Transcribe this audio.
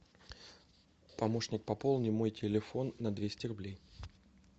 помощник пополни мой телефон на двести рублей